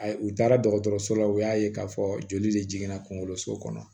A u taara dɔgɔtɔrɔso la u y'a ye k'a fɔ joli de jiginna kungolo so kɔnɔ